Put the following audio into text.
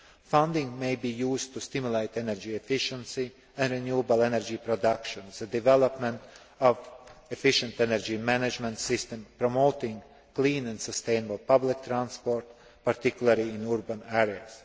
Funding may be used to stimulate energy efficiency and renewable energy production, the development of efficient energy management systems and the promotion of clean and sustainable public transport, particularly in urban areas.